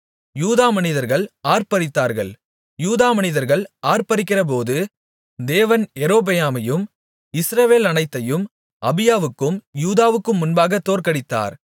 யூதா மனிதர்கள் ஆர்ப்பரித்தார்கள் யூதா மனிதர்கள் ஆர்ப்பரிக்கிறபோது தேவன் யெரொபெயாமையும் இஸ்ரவேலனைத்தையும் அபியாவுக்கும் யூதாவுக்கும் முன்பாகத் தோற்கடித்தார்